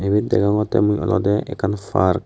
ebet degogottey mui olodey ekkan park.